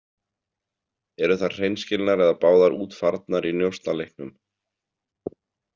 Eru þær hreinskilnar eða báðar útfarnar í njósnaleiknum?